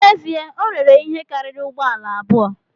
N’ezie, o rere ihe karịrị ụgbọ ala abụọ